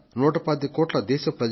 125 కోట్ల మంది దేశ ప్రజలం